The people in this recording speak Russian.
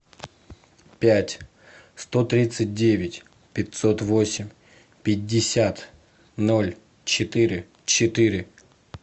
пять сто тридцать девять пятьсот восемь пятьдесят ноль четыре четыре